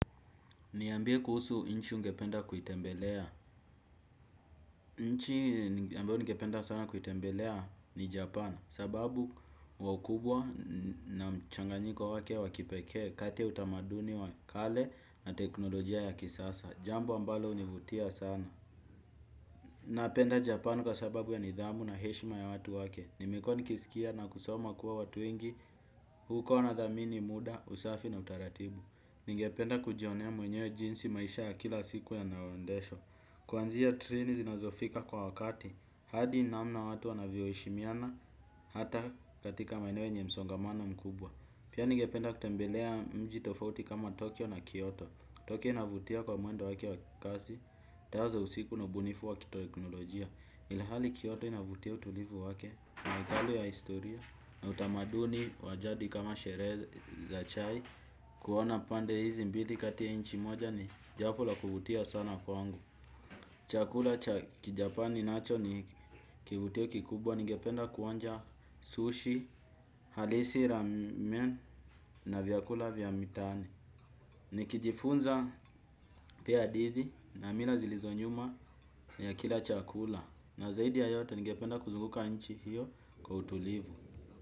Niambie kuhusu nchi ungependa kuitembelea. Nchi ambayo ningependa sana kuitembelea ni Japan. Sababu wa ukubwa na mchanganyiko wake wakipekee kati ya utamaduni wa kale na teknolojia ya kisasa. Jambo ambalo linivutia sana. Napenda Japan kwa sababu ya nidhamu na heshima ya watu wake. Nimekua nikisikia na kusoma kuwa watu wengi huko wanadhamini muda, usafi na utaratibu. Ningependa kujionea mwenyewe jinsi maisha ya kila siku ya yanayoendeshwa. Kuanzia treni zinazofika kwa wakati hadi namna watu wanavyo heshimiana hata katika maeneo yenye msongamana mkubwa. Pia ningependa kutembelea mji tofauti kama Tokyo na Kyoto Tokyo inavutia kwa mwendo wake wa kikazi tazo usiku na ubunifu wa kiteknolojia ilhali Kyoto inavutia utulivu wake magali ya historia na utamaduni wa jadi kama sherehe za chai kuwa na pande hizi mbili kati ya nchi moja ni jambo la kuvutia sana kwa kwangu. Chakula cha kijapani nacho ni kivutio kikubwa. Nigependa kuonja sushi, halisi, ramen na vyakula vya mitaani. Nikijifunza pia hadithi na mila zilizonyuma ya kila chakula na zaidi ya yote nigependa kuzunguka nchi hiyo kwa utulivu.